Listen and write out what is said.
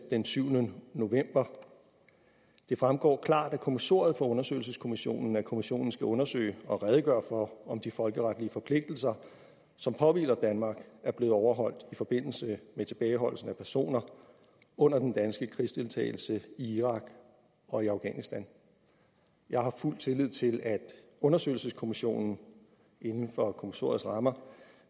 den syvende november det fremgår klart af kommissoriet for undersøgelseskommissionen at kommissionen skal undersøge og redegøre for om de folkeretlige forpligtelser som påhviler danmark er blevet overholdt i forbindelse med tilbageholdelsen af personer under den danske krigsdeltagelse i irak og i afghanistan jeg har fuld tillid til at undersøgelseskommissionen inden for kommissoriets rammer